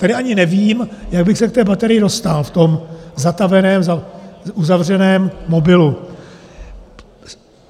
Tady ani nevím, jak bych se k té baterii dostal v tom zataveném, uzavřeném mobilu.